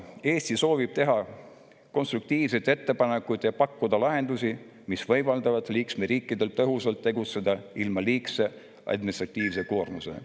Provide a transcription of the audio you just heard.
Eesti soovib teha konstruktiivseid ettepanekuid ja pakkuda lahendusi, mis võimaldavad liikmesriikidel tegutseda tõhusalt ilma liigse administratiivse koormuseta.